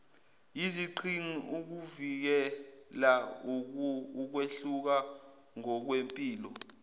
yiziqhingi ukuvikelaukwehluka ngokwempilo